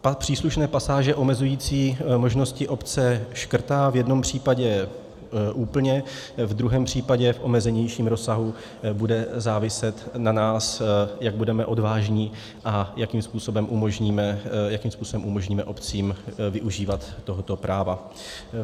Příslušné pasáže omezující možnosti obce škrtá v jednom případě úplně, ve druhém případě v omezenějším rozsahu bude záviset na nás, jak budeme odvážní a jakým způsobem umožníme obcím využívat tohoto práva.